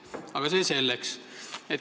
Aga see selleks.